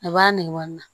A b'a nɛgewa na